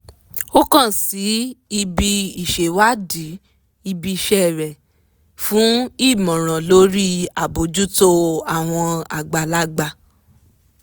ó kaǹ sí ibi ìṣèwádìí ibi iṣẹ́ rẹ̀ fún ìmọ̀ràn lórí àbójútó àwọn àgbàlagbà